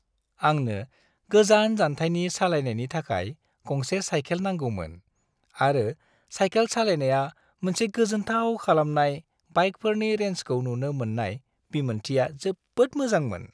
आंनो गोजान जानथायनि सालायनायनि थाखाय गंसे साइकेल नांगौमोन आरो साइकेल सालायनाया मोनसे गोजोनथाव खालामनाय बाइकफोरनि रेन्जखौ नुनो मोननाय बिमोनथिया जोबोद मोजांमोन।